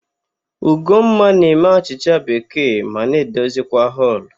Ugomma na-eme achịcha bekee ma na-edozikwa họlụ.